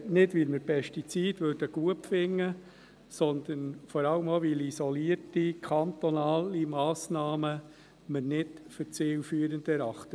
Nicht, weil wir Pestizide gut finden, sondern vor allem auch deshalb, weil wir isolierte kantonale Massnahmen als nicht zielführend erachten.